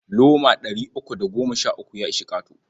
Loma ɗari uku da goma sha uku ya ishi ƙato.